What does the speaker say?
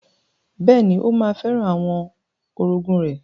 Bẹ́ẹ̀ni, ó ma fẹ́ràn àwọn orogún rẹ̀.